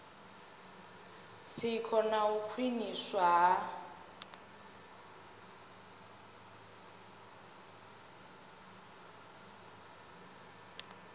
tsiko na u khwiniswa ha